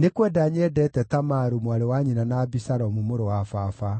“Nĩ kwenda nyendeete Tamaru, mwarĩ wa nyina na Abisalomu mũrũ wa baba.”